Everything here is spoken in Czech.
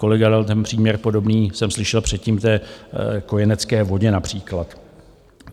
Kolega dal ten příměr podobný, jsem slyšel předtím, k té kojenecké vodě například.